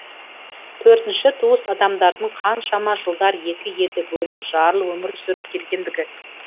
төртінші туыс адамдардың қаншама жылдар екі елде бөлініп жарылып өмір сүріп келгендігі